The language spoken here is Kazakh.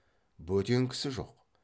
бөтен кісі жоқ